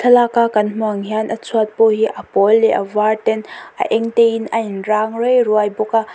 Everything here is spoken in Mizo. thlalak a kan hmuh ang hian a chhuat pawh hi a pawl leh a var ten a eng te in a in rang rei ruai bawk a.